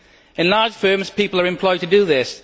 In large firms, people are employed to do this